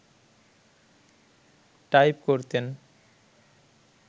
type করতেন